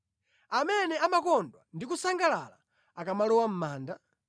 amene amakondwa ndi kusangalala akamalowa mʼmanda?